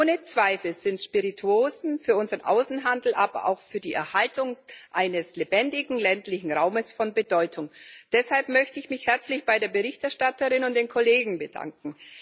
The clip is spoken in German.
Ohne Zweifel sind Spirituosen für unseren Außenhandel, aber auch für die Erhaltung eines lebendigen ländlichen Raumes von Bedeutung. Deshalb möchte ich mich herzlich bei der Berichterstatterin und den Kollegen bedanken.